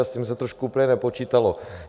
A s tím se trošku... úplně nepočítalo.